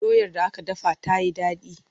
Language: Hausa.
Doyar da aka dafa ta yi daɗi.